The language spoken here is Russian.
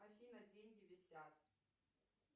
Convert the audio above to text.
афина деньги висят